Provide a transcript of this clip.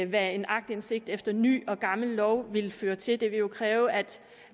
hvad en aktindsigt efter ny og gammel lov vil føre til det ville jo kræve at